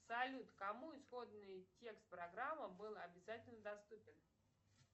салют кому исходный текст программы был обязательно доступен